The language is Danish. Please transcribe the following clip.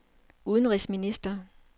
udenrigsminister